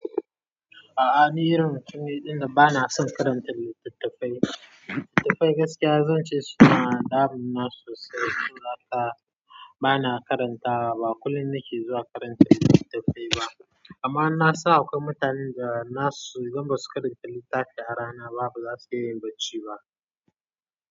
A'a ni irin mutum ne ɗin da bana son karantar littattafai. Littattafai gaskiya zan ce su na da muna sosai, saboda haka bana karantawa ba kullum nake zuwa karanta littattafai ba amma na san akwai mutanen da na su idan ba su karanta littafi a rana ba bazasu iya yin bacci ba.